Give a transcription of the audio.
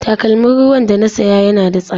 Takalmin ruwan da na saya yana da tsada.